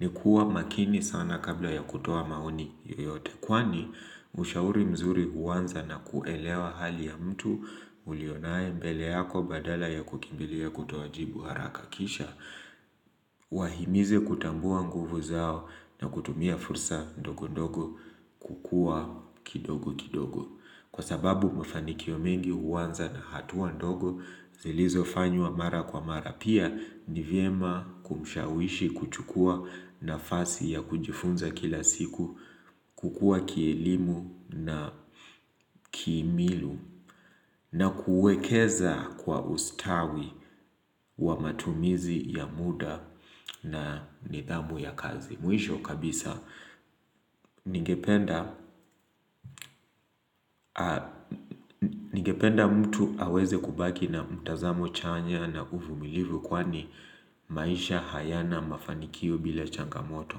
ni kuwa makini sana kabla ya kutoa maoni yoyote. Kwani ushauri mzuri uwanza na kuelewa hali ya mtu ulionaye mbele yako badala ya kukimbilia kutoa jibu haraka kisha. Wahimize kutambua nguvu zao na kutumia fursa ndogo ndogo kukua kidogo kidogo. Kwa sababu mafanikio mengi uanza na hatuwa ndogo zilizofanywa mara kwa mara. Pia niviema kumshawishi kuchukua nafasi ya kujifunza kila siku kukua kielimu na kimili na kuekeza kwa ustawi wa matumizi ya muda na nidhamu ya kazi. Mwisho kabisa ningependa mtu aweze kubaki na mtazamo chanya na uvumilivu kwani maisha hayana mafanikio bila changamoto.